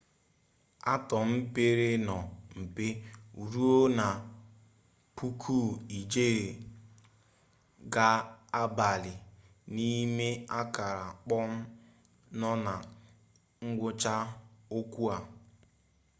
atọm pere nnọọ mpe ruo na puku ijeri ga-abali n'ime akara kpọm nọ na ngwụcha okwu a